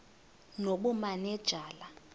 nobumanejala